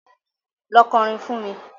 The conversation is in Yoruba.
Lọ kọrin fún mi.